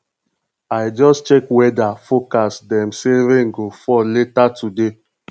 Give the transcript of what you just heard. i just check weather forecast dem say rain go fall later today